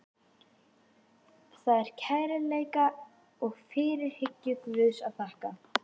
Það er kærleika og fyrirhyggju Guðs að þakka.